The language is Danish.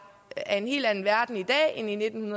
af en helt anden verden i dag end i nitten